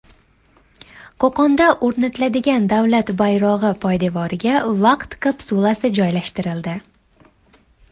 Qo‘qonda o‘rnatiladigan davlat bayrog‘i poydevoriga vaqt kapsulasi joylashtirildi .